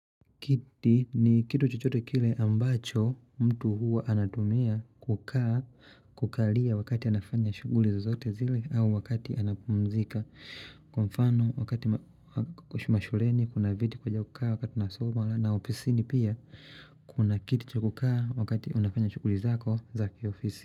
Kiti ni kitu chohote kile ambacho mtu huwa anatumia kukaa kukalia wakati anafanya shughuli zozote zile au wakati anapumzika. Kwa mfano wakati mashuleni kuna viti kuja kukaa wakati tunasoma na ofisini pia kuna kiti cha kukaa wakati unafanya shughuli zako zakiofisi.